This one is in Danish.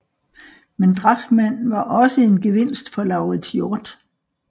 Men Drachmann var også en gevinst for Lauritz Hjort